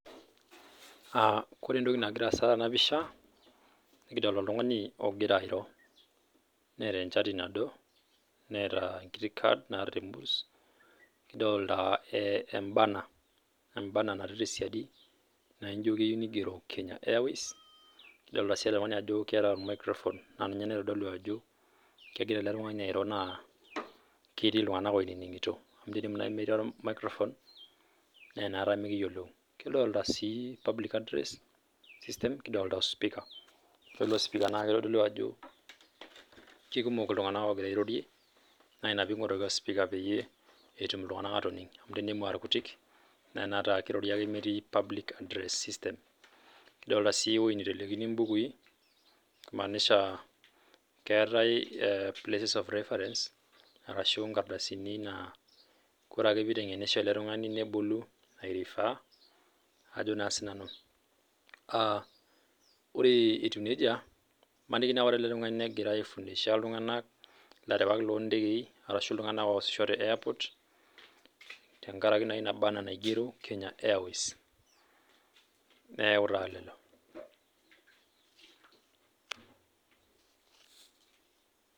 Kore entoki nagira aasa tenapisha, nikidolta oltung'ani ogira airo. Neeta enchati nado, neeta enkiti kad naata temurs. Kidolta e burner ,e burner natii tesiadi, naijo keyieu nigero Kenya Airways. Kidolta si ele tung'ani ajo keeta microphone, na ninye naitodolu ajo kegira ele tung'ani airo naa ketii iltung'anak oinining'ito. Amu tenemu nai metii o microphone, nenaata mikiyiolou. Kidolta si public address system, kidolta osipika. Ore ilo sipika na kitodolu ajo kekumok iltung'anak ogira airorie, na ina ping'oruaki osipika peyie etum iltung'anak atoning'. Amu tenemu arkutik, nenata ata kirori ake metii public address system. Kidolta si ewoi nitelekini bukui, imanisha keetae places of reference, arashu nkardasini naa kore ake piteng'enisho ele tung'ani nebolu ai refer, ajo naa sinanu. Ore etiu nejia, maniki na ore ele tung'ani negirai ai fundisha iltung'anak, ilarewak lontekei arashu iltung'anak oosisho te airport, tenkaraki naa ina burner naigero Kenya Airways. Neeku taa lelo.